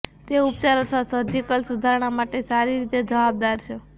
તે ઉપચાર અથવા સર્જિકલ સુધારણા માટે સારી રીતે જવાબદાર છે